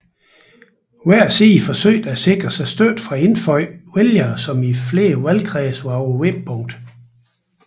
Hver side forsøgte at sikre sig støtte fra indfødte vælgere som i flere valgkredse var på vippepunktet